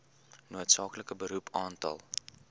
noodsaaklike beroep aantal